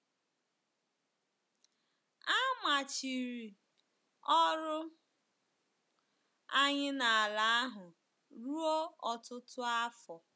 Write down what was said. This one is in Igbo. A machiri ọrụ anyị n’ala ahụ ruo ọtụtụ afọ.